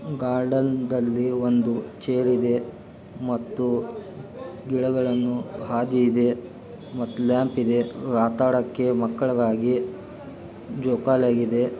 Guard ನ್ದಲ್ಲಿ ಒಂದು chair ಇದೆ ಮತ್ತು ಗಿಡಗಳನ್ನು ಹಾದಿ ಇದೆ ಮತ್ತು ಲ್ಯಾಂಪ್ ಇದೆ. ಆದಕ್ಕೆ ಮಕ್ಕಳಾಗಿ ಜೋಕಾಲಾಗಿದೆ.